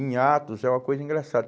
Em atos, é uma coisa engraçada.